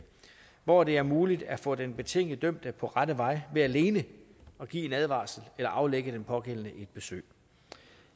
hvor det er muligt at få den betinget dømte på rette vej ved alene at give en advarsel eller aflægge den pågældende et besøg